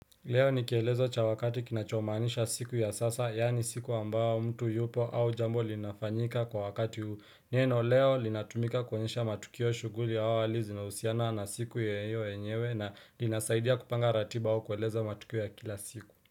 Leo ni kielezo cha wakati kinachomaanisha siku ya sasa yaani siku ambao mtu yupo au jambo linafanyika kwa wakati neno leo linatumika kuenyesha matukio shughuli au hali zinahusiana na siku ya hiyo yenyewe na linasaidia kupanga ratiba au kueleza matukio ya kila siku.